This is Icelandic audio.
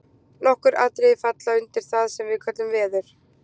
Nokkur atriði falla undir það sem við köllum veður.